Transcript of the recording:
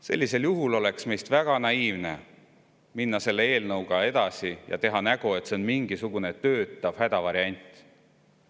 Meist oleks väga naiivne minna selle eelnõuga edasi ja teha nägu, et see on mingisugune töötav hädavariant.